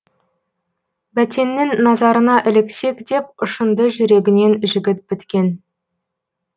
бәтеннің назарына іліксек деп ұшынды жүрегінен жігіт біткен